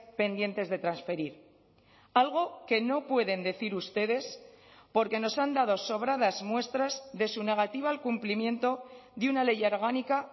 pendientes de transferir algo que no pueden decir ustedes porque nos han dado sobradas muestras de su negativa al cumplimiento de una ley orgánica